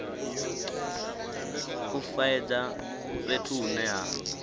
u faedza fhethu hune ha